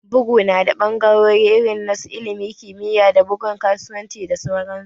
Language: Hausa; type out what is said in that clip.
Bugu ya na da ɓangarori irin na su ilimi, kimiyya, da bugun kasuwanci da sauran su